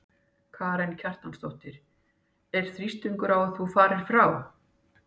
Karen Kjartansdóttir: Er þrýstingur á að þú farir frá?